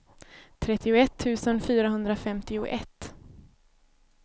trettioett tusen fyrahundrafemtioett